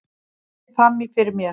Greip fram í fyrir mér.